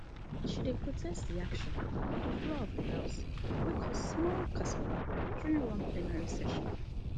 she protest di action for di floor of di house wey cause small kasala during one plenary session